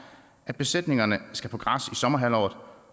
at besætningerne skal på græs sommerhalvåret